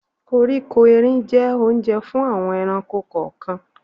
Koríko erin jẹ́ Ohunjẹ́ fún àwọn ẹranko kọ̀ọ̀kan